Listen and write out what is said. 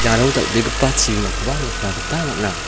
iano dal·begipa chibimakoba nikna gita man·a.